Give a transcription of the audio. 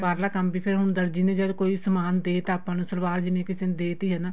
ਬਾਹਰਲਾ ਕੰਮ ਵੀ ਫੇਰ ਹੁਣ ਦਰਜੀ ਨੇ ਜਦ ਕੋਈ ਸਮਾਣ ਦੇਤਾ ਆਪਾਂ ਨੂੰ ਸਲਵਾਰ ਜਿਵੇਂ ਕਿਸੇ ਨੂੰ ਦੇਤੀ ਏ ਨਾ